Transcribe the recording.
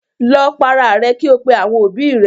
Lọ para rẹ kí ò pè àwọn òbí rẹ.